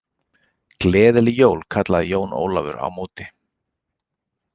Gleðileg jól kallaði Jón Ólafur á móti.